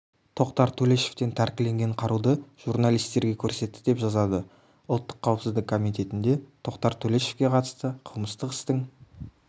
тоқтар төлешовтен тәркіленген қаруды журналистерге көрсетті деп жазады ұлттық қауіпсіздік комитетінде тоқтар төлешовке қатысты қылмыстық істің